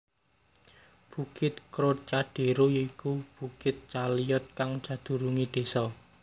Bukit Trocadéro ya iku bukit Chaillot kang sedurunge desa